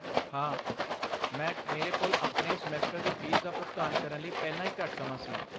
ਹਾਂ, ਮੈਂ ਮੇਰੇ ਕੋਲ ਆਪਣੇ ਸਮੈਸਟਰ ਦੀ ਫੀਸ ਦਾ ਭੁਗਤਾਨ ਕਰਨ ਲਈ ਪਹਿਲਾਂ ਹੀ ਘੱਟ ਸਮਾਂ ਸੀ।